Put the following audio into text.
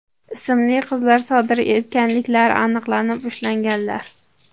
ismli qizlar sodir etganliklari aniqlanib, ushlanganlar.